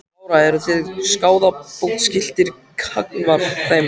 Lára: Eru þið skaðabótaskyldir gagnvart þeim?